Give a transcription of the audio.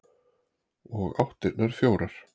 Og áttirnar fjórar.